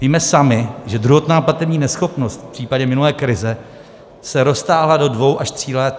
Víme sami, že druhotná platební neschopnost v případě minulé krize se roztáhla do dvou až tří let.